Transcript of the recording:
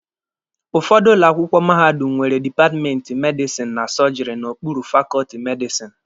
Ụfọdụ ụlọ akwụkwọ mahadum nwere dipatmenti medisini na sọọjịrị n'okpuru fakọọtị medisini.